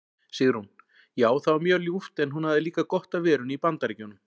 Sigrún: Já það var mjög ljúft en hún hafði líka gott af verunni í BAndaríkjunum.